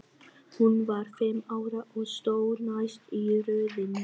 Hún var fimm ára og stóð næst í röðinni.